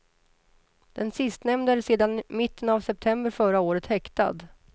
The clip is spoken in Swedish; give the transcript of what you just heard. Den sistnämnde är sedan mitten av september förra året häktad.